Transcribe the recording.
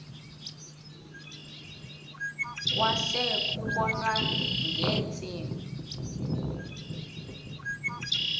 kwase kubonwa ngeentsimbi